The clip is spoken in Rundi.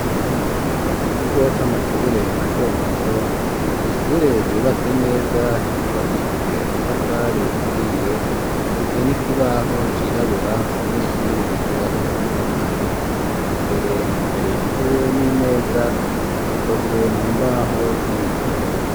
Ku kigo c'amashure mato mato ,n' ishure ryubatse neza ryubakishije amatafari ahiye ,rifise nikibaho cirabura abanyeshuri bigiraho hamwe na mwarimu, imbere hari intebe n'imeza zikozwe mu mbaho z'ibiti